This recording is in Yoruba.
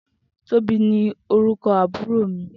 Tobi ni órúkò àbúró mi